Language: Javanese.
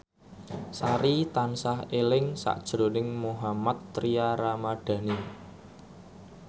Sari tansah eling sakjroning Mohammad Tria Ramadhani